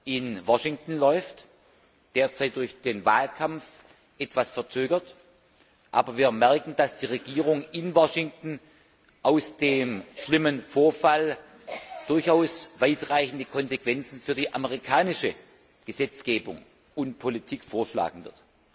in Washington läuft, derzeit durch den Wahlkampf etwas verzögert, aber wir merken, dass die Regierung in Washington aus dem schlimmen Vorfall durchaus weitreichende Konsequenzen für die amerikanische Gesetzgebung und Politik ziehen wird.